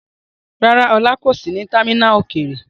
Rárá, Ola kò sí ní támínà òkèèrè.